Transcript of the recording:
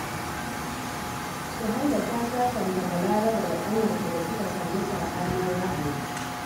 Suhaila ta sasanta Balaraba da ƙanwarta da suka samu saɓanin ra'ayi